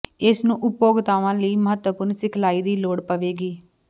ਇਸ ਨੂੰ ਉਪਭੋਗਤਾਵਾਂ ਲਈ ਮਹੱਤਵਪੂਰਨ ਸਿਖਲਾਈ ਦੀ ਲੋੜ ਪਵੇਗੀ